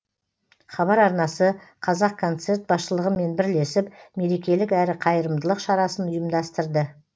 хабар арнасы қазақконцерт басшылығымен бірлесіп мерекелік әрі қайырымдылық шарасын ұйымдастырды